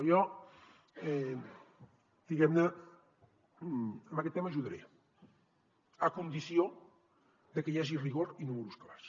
jo diguem ne en aquest tema ajudaré a condició que hi hagi rigor i números clars